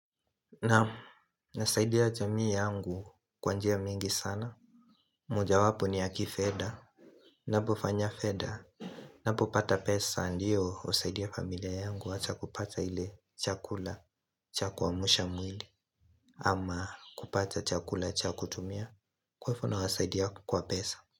Naam, nasaidia jamii yangu kwa njia mingi sana mojawapo ni ya kifedha Napofanya fedha, napopata pesa ndiyo husaidia familia yangu hata kupata ile chakula cha kuamsha mwili ama kupata chakula cha kutumia. Kwa hivyo nawasaidia kwa pesa.